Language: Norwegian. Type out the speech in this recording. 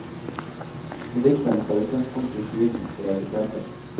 Og diktet må ta utgangspunkt i tidens realiteter.